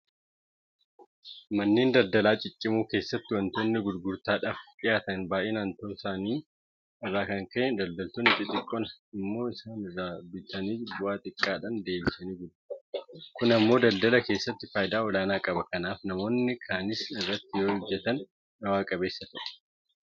Manneen daldalaa ciccimoo keessatti waantonni gurgurtaadhaaf dhiyaatan baay'inaan ta'uu isaa irraa kan ka'e daldaltoonni xixiqqoon immoo isaan irraa bitanii bu'aa xiqqaadhaan deebisanii gurguratu. Kun immoo daldala keessatti faayidaa olaanaa qaba. Kanaaf namoonni kaanis irratti yoohojjetan bu'a qabeessa ta'uu danda'u.